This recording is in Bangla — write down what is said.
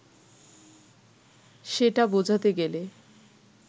সেটা বোঝাতে গেলে